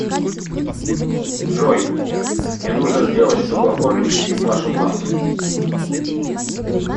джой мне нужно сделать чтобы оформить кредит в вашем банке